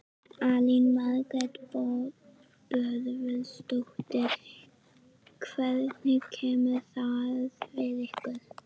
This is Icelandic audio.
Elín Margrét Böðvarsdóttir: Hvernig kemur það við ykkur?